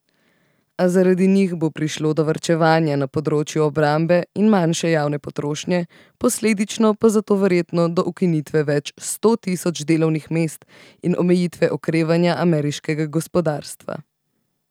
A zaradi njih bo prišlo do varčevanja na področju obrambe in manjše javne potrošnje, posledično pa zelo verjetno do ukinitve več sto tisoč delovnih mest in omejitve okrevanja ameriškega gospodarstva.